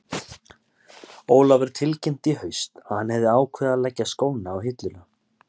Ólafur tilkynnti í haust að hann hefði ákveðið að leggja skóna á hilluna.